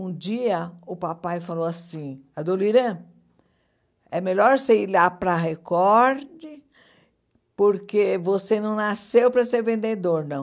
Um dia, o papai falou assim, Adoniran, é melhor você ir lá para a Record, porque você não nasceu para ser vendedor, não.